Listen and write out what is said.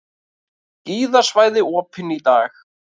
Skíðasvæði opin í dag